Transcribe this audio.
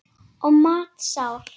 Og matsár var konan.